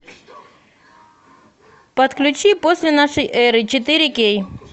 подключи после нашей эры четыре кей